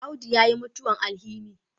Audu ya mutuwan alhini